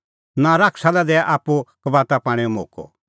नां शैताना लै दैआ आप्पू कबाता पाणैओ मोक्कअ